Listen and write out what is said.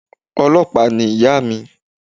Ọlọ́pàá ni ìyà mi